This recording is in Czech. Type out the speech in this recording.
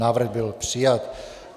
Návrh byl přijat.